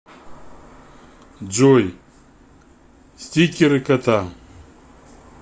джой стикеры кота